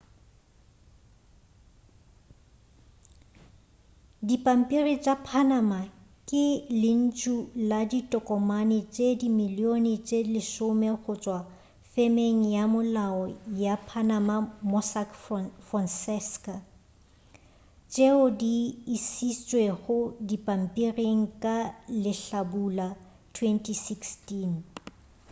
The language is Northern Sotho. dipampiri tša panama ke lentšu la ditokomane tše dimilione tše lesome go tšwa femeng ya molao ya panama mossack fonseca tšeo di išitšwego dipampiring ka lehlabula 2016